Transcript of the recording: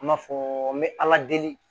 An b'a fɔ me ala deli